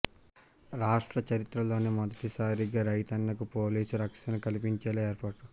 రాష్ట్ర చరిత్రలోనే మొదటిసారిగా రైతన్నకు పోలీసు రక్షణ కల్పించేలా ఏర్పాటు